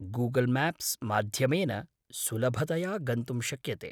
Google Maps माध्यमेन सुलभतया गन्तुं शक्यते।